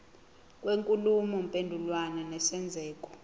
kwenkulumo mpendulwano nesenzeko